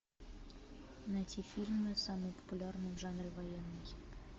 найти фильмы самые популярные в жанре военный